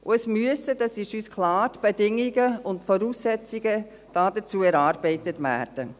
Es müssen – dies ist uns klar – die Bedingungen und Voraussetzungen dazu erarbeitet werden.